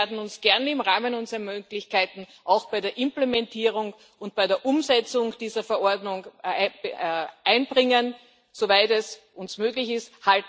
Wir werden uns gern im Rahmen unserer Möglichkeiten auch bei der Implementierung und bei der Umsetzung dieser Verordnung einbringen, soweit es uns möglich ist.